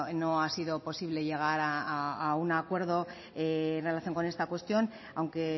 no ha sido posible llegar a un acuerdo en relación con esta cuestión aunque